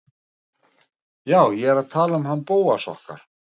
Jú, ég er að tala um hann Bóas okkar.